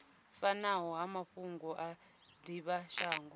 fanaho na mafhungo a divhashango